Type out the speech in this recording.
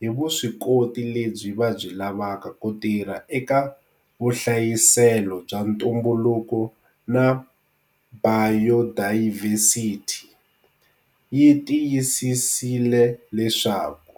hi vuswikoti lebyi va byi lavaka ku tirha eka vuhlayiselo bya ntumbuluko na bayodayivhesithi, yi tiyisisile leswaku.